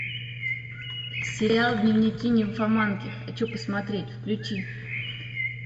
сериал дневники нимфоманки хочу посмотреть включи